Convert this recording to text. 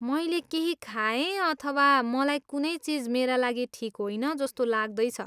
मैले केही खाएँ अथवा मलाई कुनै चिज मेरा लागि ठिक होइन जस्तो लाग्दैछ।